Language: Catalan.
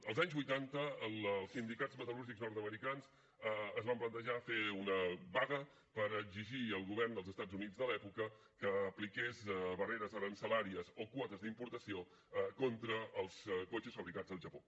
als anys vuitanta els sindicats metal·lúrgics nord americans es van plantejar fer una vaga per exigir al govern dels estats units de l’època que apliqués barreres aranzelàries o quotes d’importació contra els cotxes fabricats al japó